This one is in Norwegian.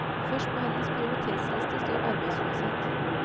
Først på hennes prioritetsliste står arbeidsløshet.